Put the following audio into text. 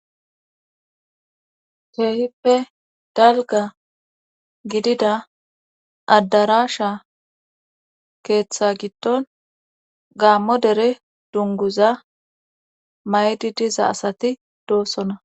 Keehippe dalga gidida addarasha keeththa giddon gaammo dere dunguza maydi diza asati doosona.